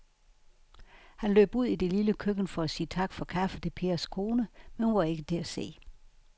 Han løb ud i det lille køkken for at sige tak for kaffe til Pers kone, men hun var ikke til at se.